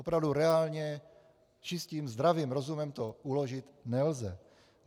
Opravdu reálně čistým zdravým rozumem to uložit nelze.